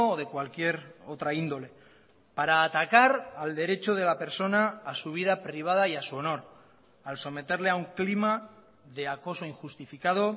de cualquier otra índole para atacar al derecho de la persona a su vida privada y a su honor al someterle a un clima de acoso injustificado